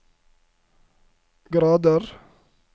grader